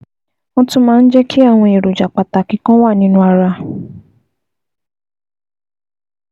Wọ́n tún máa ń jẹ́ kí àwọn èròjà pàtàkì kan wà nínú ara